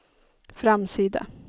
framsida